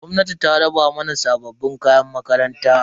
Gwamnatin ta raba mana sabbin kayan makaranta.